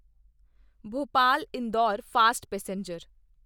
Bhopal Indore fast passenger